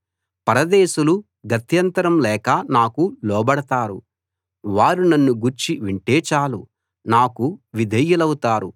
పరదేశులు గత్యంతరం లేక నాకు లోబడతారు వారు నన్నుగూర్చి వింటే చాలు నాకు విధేయులౌతారు